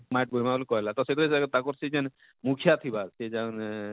ମାଟ ବୁହିମା ବଳି କହେଲା ତ ସେବେ ତାକର ସେ ଯେନ ମୁଖ୍ୟା ଥିବା ସେ ଯେନ ଅଁ